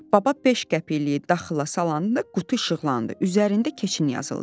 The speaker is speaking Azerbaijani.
Baba beş qəpikliy daxıla salanda qutu işıqlandı, üzərində "keçin" yazıldı.